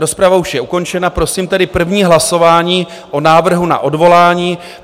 Rozprava už je ukončena, prosím tedy první hlasování o návrhu na odvolání.